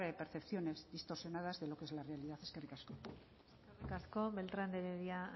percepciones distorsionadas de lo que es la realidad eskerrik asko eskerrik asko beltrán de heredia